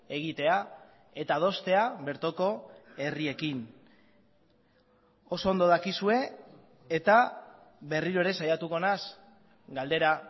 egitea eta adostea bertoko herriekin oso ondo dakizue eta berriro ere saiatuko naiz galdera